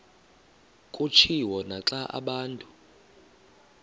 kutshiwo naxa abantu